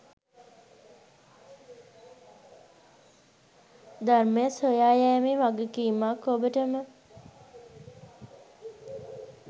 ධර්මය සොයා යෑමෙ වගකීමක් ඔබටම